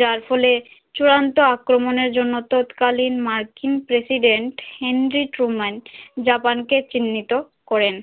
যার ফলে চূড়ান্ত আক্রমণের জন্য তৎকালীন মার্কিন প্রেসিডেন্ট হেনরিক রোমান জাপান কে চিণ্হিত করেন